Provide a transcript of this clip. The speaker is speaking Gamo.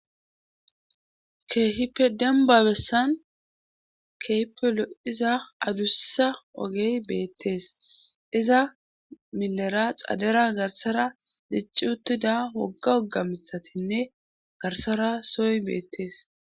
Keehipe demba bessan keype loiza adussa ogey beettees iza milera xadera garsara dicci uttida wogga wogga mithatinne garsara sooy beettees.